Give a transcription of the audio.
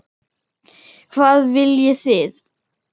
Hvað viljið þið!